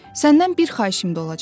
Səndən bir xahişim də olacaq.